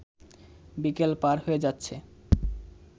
বিকেল পার হয়ে যাচ্ছে